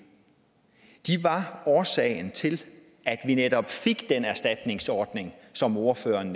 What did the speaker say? de var årsagen til at vi netop fik den erstatningsordning som ordføreren